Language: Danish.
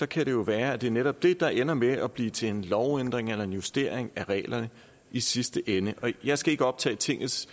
kan det jo være at det netop er det der ender med at blive til en lovændring eller en justering af reglerne i sidste ende og jeg skal ikke optage tingets